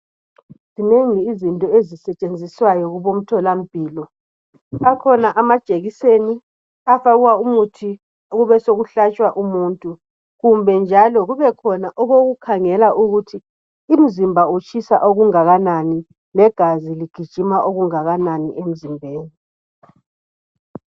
Zinengi yizinto ezisetshenziswayo kubomtholampilo akhona amajekiseni afakwa umuthi kube sokuhlatshwa umuntu kumbe njalo kubekhona okokukhangela umuntu ukuthi umzimba utshisa okungakanani legazi ligijima okungakanani emzimbeni.